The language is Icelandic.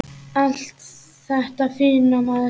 Allt þetta fína, maður.